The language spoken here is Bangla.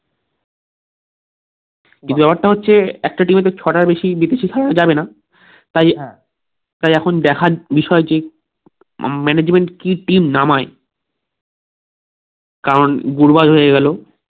ব্যাপারটা হচ্ছে একটা team তো ছটার বেশি বিদেশি খেলানো যাবে না তাই সেই এখন দেখার বিষয় টি আহ management কি team নামায় কারণ গুরবাজ হয়ে গেলো